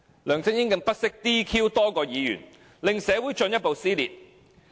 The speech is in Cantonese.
梁振英更不惜 "DQ" 多名議員，令社會進一步撕裂。